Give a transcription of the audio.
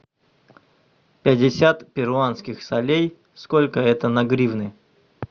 пятьдесят перуанских солей сколько это на гривны